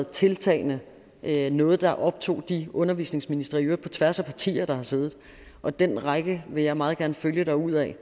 tiltagende været noget der optog de undervisningsministre i øvrigt på tværs af partier der har siddet og den række vil jeg meget gerne følge derudad